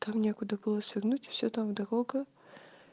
там некуда было свернуть все там дорога